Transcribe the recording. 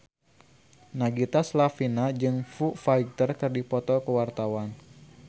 Nagita Slavina jeung Foo Fighter keur dipoto ku wartawan